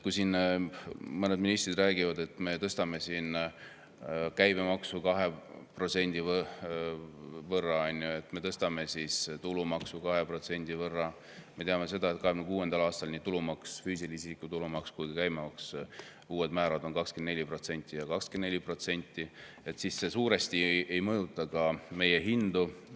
Mõned ministrid räägivad, et me tõstame jah käibemaksu 2% võrra, et me tõstame tulumaksu 2% võrra – me teame, et 2026. aastal nii füüsilise isiku tulumaks kui ka käibemaks, uued määrad on 24% ja 24% –, aga see suurt ei mõjuta meie hindu.